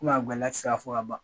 A gɛlɛya ti se ka fɔ ka ban